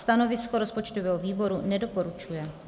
Stanovisko rozpočtového výboru - nedoporučuje.